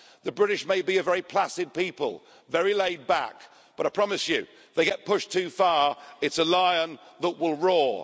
The British may be a very placid people, very laid back, but I promise you if they get pushed too far, it's a lion that will roar.